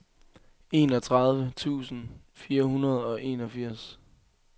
enogtredive tusind fire hundrede og enogfirs